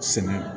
Sɛnɛ